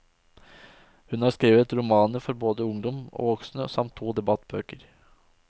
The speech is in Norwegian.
Hun har skrevet romaner for både ungdom og voksne, samt to debattbøker.